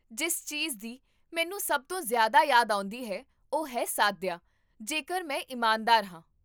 ਜਿਸ ਚੀਜ਼ਦੀ ਮੈਨੂੰ ਸਭ ਤੋਂ ਜ਼ਿਆਦਾ ਯਾਦ ਆਉਂਦੀ ਹੈ ਉਹ ਹੈ ਸਾਦਯਾ, ਜੇਕਰ ਮੈਂ ਇਮਾਨਦਾਰ ਹਾਂ